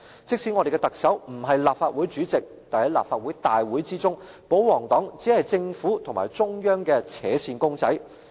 即使我們的特首不是立法會主席，但在立法會會議中，保皇黨只是政府與中央的扯線公仔。